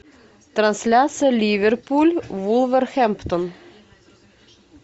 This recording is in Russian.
трансляция ливерпуль вулверхэмптон